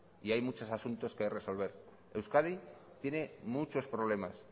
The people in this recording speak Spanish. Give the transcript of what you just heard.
y hay muchos asuntos que resolver euskadi tiene muchos problemas